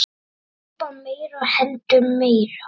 Kaupa meira og hendum meiru.